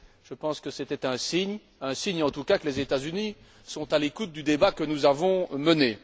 Je pense que c'était un signe, un signe en tout cas que les États Unis sont à l'écoute du débat que nous avons mené.